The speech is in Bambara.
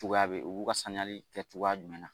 Cogoya bɛ u ka sanuyali kɛ cogoya jumɛn na